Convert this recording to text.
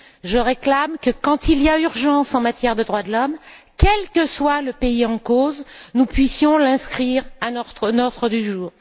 Je réclame que, quand il y a urgence en matière de droits de l'homme, quel que soit le pays en cause, nous puissions l'inscrire à notre ordre du jour.